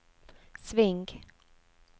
sving